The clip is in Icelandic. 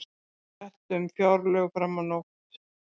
Rætt um fjárlög fram á nótt